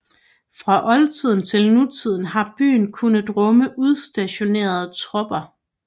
Fra oldtiden til nutiden har byen kunnet rumme udstationerede tropper